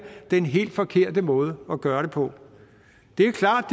den helt forkerte måde at gøre det på det er klart at